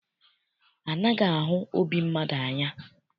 Anaghị ahụ obi mmadụ anya.